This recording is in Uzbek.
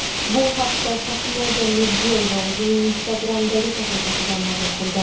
Bu haqda Shahnoza Mirziyoyeva o‘zining Instagram’dagi sahifasida ma’lum qildi.